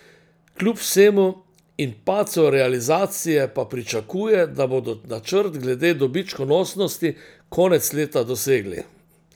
Kljub vsemu in padcu realizacije pa pričakuje, da bodo načrt glede dobičkonosnosti konec leta dosegli.